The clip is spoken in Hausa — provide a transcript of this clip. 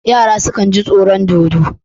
Yara sukan ji tsoron dodo.